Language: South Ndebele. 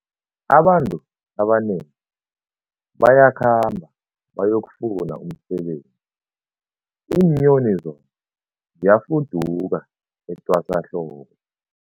Abantu abanengi bayakhamba bayokufuna umsebenzi, iinyoni zona ziyafuduka etwasahlobo.